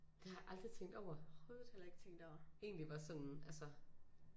Det har jeg aldrig tænkt over egentlig hvor sådan altså